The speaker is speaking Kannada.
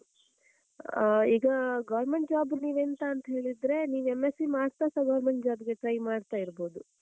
ಆಹ್ ಈಗ government job ನೀವೆಂತಾ ಅಂತ ಹೇಳಿದ್ರೆ, ನೀವ್ M.sc ಮಾಡ್ತಾಸ government job ಗೆ try ಮಾಡ್ತಾ ಇರ್ಬೋದು,